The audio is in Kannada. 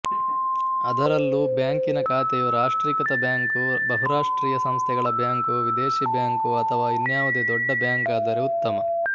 ಅದರಲ್ಲೂ ಬ್ಯಾಂಕಿನ ಖಾತೆಯು ರಾಷ್ಟ್ರೀಕೃತ ಬ್ಯಾಂಕು ಬಹುರಾಷ್ಟ್ರೀಯ ಸಂಸ್ಥೆಗಳ ಬ್ಯಾಂಕು ವಿದೇಶೀ ಬ್ಯಾಂಕು ಅಥವಾ ಇನ್ನ್ಯಾವುದೇ ದೊಡ್ಡ ಬ್ಯಾಂಕಾದರೆ ಉತ್ತಮ